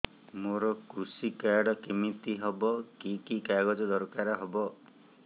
ମୋର କୃଷି କାର୍ଡ କିମିତି ହବ କି କି କାଗଜ ଦରକାର ହବ